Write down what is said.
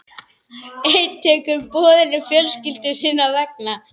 Einn tekur boðinu fjölskyldu sinnar vegna.